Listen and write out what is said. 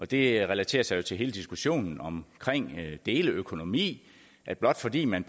det relaterer sig til hele diskussionen om deleøkonomi at blot fordi man